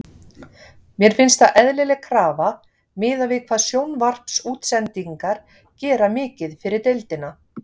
Mér finnst það eðlileg krafa miðað við hvað sjónvarpsútsendingar gera mikið fyrir deildina.